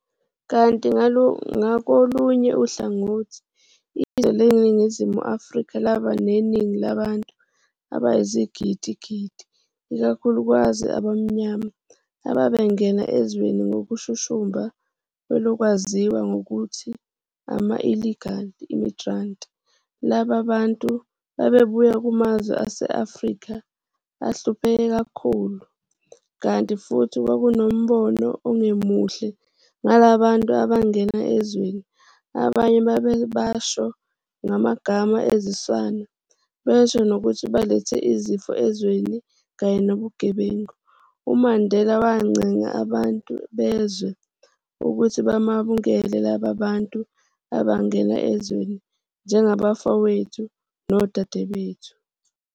Kanti ngakolunye uhlangothi, izwe leNingizimu Afrika laba neningi labantu abayizigidi-gidi ikakhulukazi abamnyama ababengena ezweni ngokushushumba ngelokwaziwa ngokuthi ama-illegal migrants laba bantu babebuya kumazwe ase-Afrika ahlupheke kakhulu, kanti futhi kwakunombono ongemuhle ngalaba bantu abangena ezweni, abanye babebasho ngamagama aziswana besho nokuthi balethe izifo ezweni kanye nobugebengu, uMandela wancenga abantu bezwe ukuthi bamukele laba bantu abangena ezweni "njengabafowethu nodadewethu".